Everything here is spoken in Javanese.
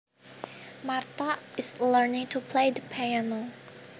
Martha is learning to play the piano